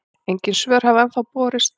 Engin svör hafa ennþá borist.